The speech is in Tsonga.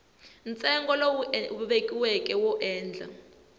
ntsengo lowu vekiweke wo endla